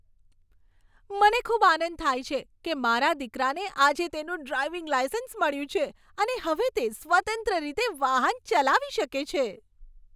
મને ખૂબ આનંદ થાય છે કે મારા દીકરાને આજે તેનું ડ્રાઇવિંગ લાઇસન્સ મળ્યું છે અને હવે તે સ્વતંત્ર રીતે વાહન ચલાવી શકે છે.